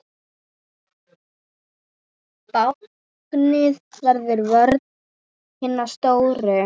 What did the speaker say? Báknið verður vörn hinna stóru.